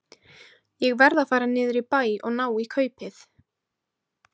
Ég verð að fara niður í bæ og ná í kaupið.